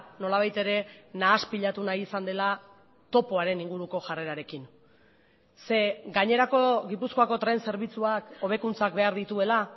nolabait ere nahaspilatu nahi izan dela topoaren inguruko jarrerarekin ze gainerako gipuzkoako tren zerbitzuak hobekuntzak behar dituela